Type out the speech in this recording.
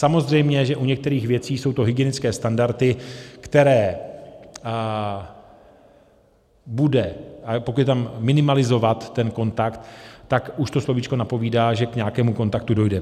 Samozřejmě, že u některých věcí jsou to hygienické standardy, které bude... ale pokud je tam minimalizovat ten kontakt, tak už to slovíčko napovídá, že k nějakému kontaktu dojde.